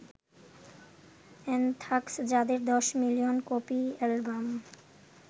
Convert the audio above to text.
anthrax যাদের ১০ million copy album